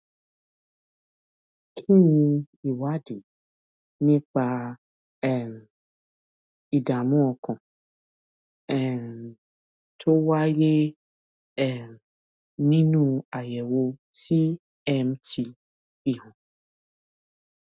kí ni ìwádìí nípa um ìdààmú ọkàn um tó wáyé um nínú àyèwò tmt fi hàn